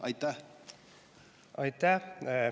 Aitäh!